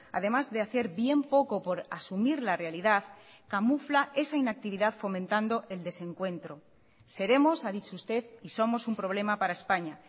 además de hacer bien poco por asumir la realidad camufla esa inactividad fomentando el desencuentro seremos ha dicho usted y somos un problema para españa